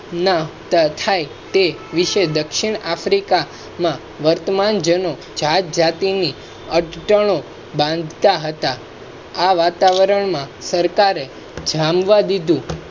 તે વિશે દક્ષિણ africa માં વર્તમાન જ્ઞાતિ અટંટનો બાંધતા હતા. આ વાતાવરણ માં સરકારે જામવા દીધું